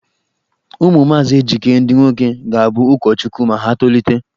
Ụmụ maazị Ejike ndị nwoke ga-abụ ụkọchukwu ma ha tolite.